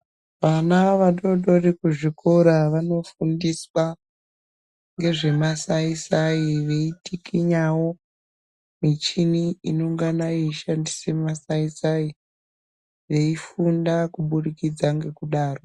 Vana vadodori kuzvikora vanofundiswa ngezvemasai-sai. Veitikinyavo michini inongana yeishandise masai-sai veifunda kubudikidza ngekudaro.